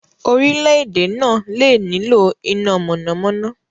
Orílẹ̀-èdè náà lè nílò iná mọ̀nàmọ́ná.